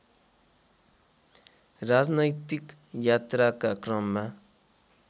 राजनैतिक यात्राका क्रममा